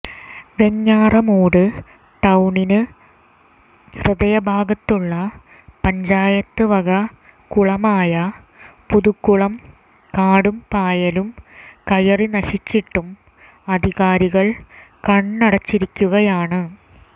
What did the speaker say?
വെഞ്ഞാറമൂട് ടൌണിന് ഹൃദയഭാഗത്തുള്ള പഞ്ചായത്ത് വക കുളമായ പുതുക്കുളം കാടും പായലും കയറി നശിച്ചിട്ടും അധികാരികൾ കണ്ണടച്ചിരിക്കുകയാണ്